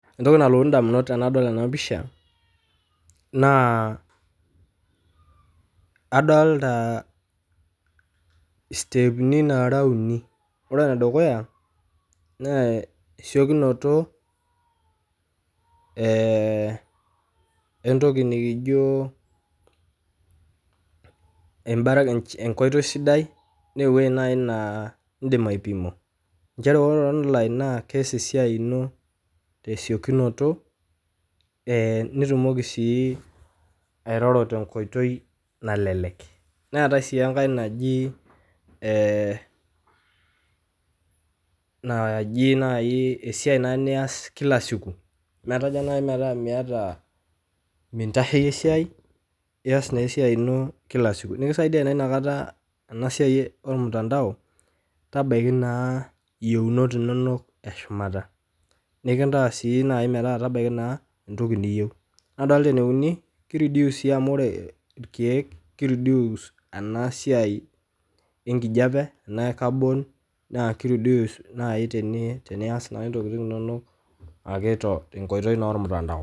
Entoki nalotu indamunot tenadol ena pisha, naa adolita steepni naara uni, ore ne dukuya naa esikunoto, entoki nikijo enkoitoi sidai neuwo nai naa indima aipima, inchere ore online naa keyas esiai ino te siokunoto, nitumoki sii airoro te nkoitoi nalelek, neatae sii enkae najii naii esiaii naa niyas kila siku, netaa naa nai nmetaa mintacheiye siai, niyas na esiai ino kila siku, nikisaidia naa inakata ena siai olmutandao tebaki naa yeunot inonok eshumata, nikintaas sii metaa tabaki naa niyeu, nadolta ne unii keireduce sii amuu ore irkeek keireduce ena siai enkijepe naa carbon naa keireduce naii tiniyas ntokitin inonok te nkoitoi e mutandao.